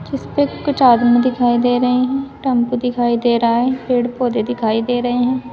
जिसपे कुछ आदमी दिखाई दे रही हैं। टम्पू दिखाई दे रहा है। पेड़ पौधे दिखाई दे रहे हैं।